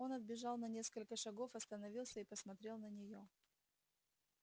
он отбежал на несколько шагов остановился и посмотрел на неё